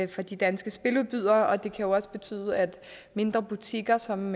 de danske spiludbydere og det kan jo også betyde at mindre butikker som